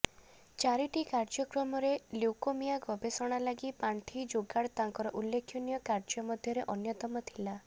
ଚାରିଟି କାର୍ଯ୍ୟକ୍ରମରେ ଲ୍ୟୁକୋମିଆ ଗବେଷଣା ଲାଗି ପାଣ୍ଠି ଯୋଗାଡ ତାଙ୍କର ଉଲ୍ଲେଖନୀୟ କାର୍ଯ୍ୟ ମଧ୍ୟରେ ଅନ୍ୟତମ ଥିଲା